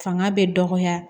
Fanga bɛ dɔgɔya